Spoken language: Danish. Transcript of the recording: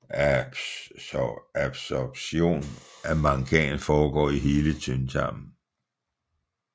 Absorptionen af mangan foregår i hele tyndtarmen